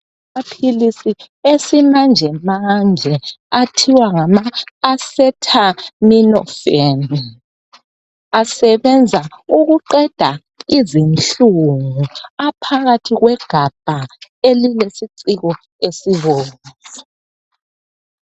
Amapilisi esimanjemanje athiwa ngamaacetaminophen. Asebenza ukuqeda izinhlungu. Aphakathi kwegabha elilesiciko esibomvu.